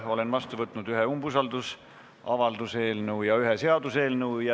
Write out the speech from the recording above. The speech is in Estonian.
Olen vastu võtnud ühe umbusaldusavalduse eelnõu ja ühe seaduseelnõu.